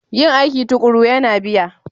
Yin aiki tuƙuru yana biya